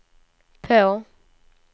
på